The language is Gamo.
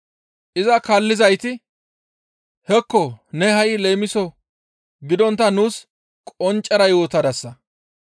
Iza kaallizayti, «Hekko ne ha7i leemiso gidontta nuus qonccera yootadasa.